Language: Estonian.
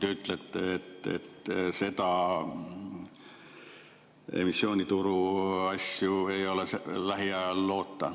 Te ütlesite, et emissioonituru asjade lahendamist ei ole lähiajal loota.